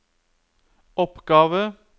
oppgave